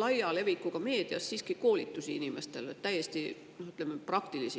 laia levikuga koolitusi inimestele, ütleme, täiesti praktilisi.